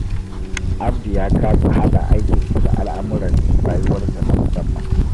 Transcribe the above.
Abdu ya kasa haɗa aikinsa da al'amuran rayuwarsa na musamman.